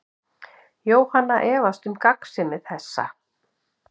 Jóhanna efast um gagnsemi þessa.